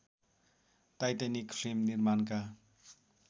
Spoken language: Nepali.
टाइटैनिक फिल्म निर्माणका